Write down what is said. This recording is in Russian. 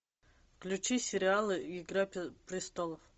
включи сериал игра престолов